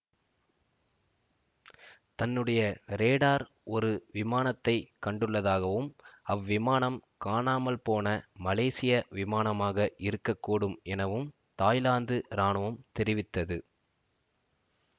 தன்னுடைய ரேடார் ஒரு விமானத்தைக் கண்டுள்ளதாகவும் அவ்விமானம் காணாமல்போன மலேசிய விமானமாக இருக்க கூடும் எனவும் தாய்லாந்து இராணுவம் தெரிவித்தது